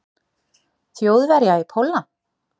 Þjóðverja í Pólland.